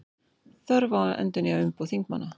Þörf á að endurnýja umboð þingmanna